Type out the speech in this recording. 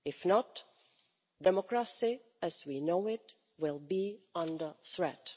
If not, democracy as we know it will be under threat.